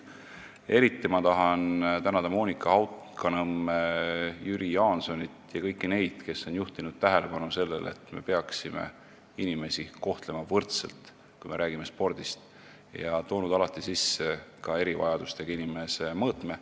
Eriti tahan tänada Monika Haukanõmme, Jüri Jaansonit ja kõiki neid, kes on juhtinud tähelepanu sellele, et me peaksime inimesi kohtlema võrdselt, kui me räägime spordist, ja toonud alati sisse ka erivajadustega inimese mõõtme.